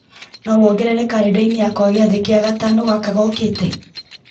no wongerere karenda-inĩ yakwa gĩathĩ kĩa gatano gaka gookĩte